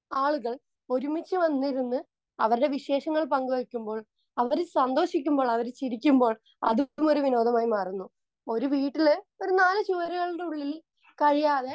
Speaker 2 ആളുകൾ ഒരുമിച്ചു വന്നിരുന്ന് അവരുടെ വിശേഷങ്ങൾ പങ്കുവയ്ക്കുമ്പോൾ അവർ സന്തോഷിക്കുമ്പോൾ, അവർ ചിരിക്കുമ്പോൾ അതും ഒരു വിനോദമായി മാറുന്നു. ഒരു വീട്ടിൽ ഒരു നാലും ചുവരുകളുടെ ഉള്ളിൽ കഴിയാതെ